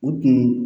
O tun